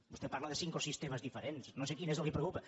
vostè parla de cinc o sis temes diferents no sé quin és el que la preocupa